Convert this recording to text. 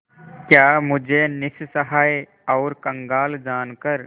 क्या मुझे निस्सहाय और कंगाल जानकर